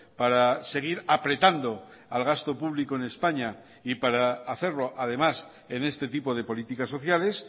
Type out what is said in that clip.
para seguir apretando al gasto público en españa y para hacerlo además en este tipo de políticas sociales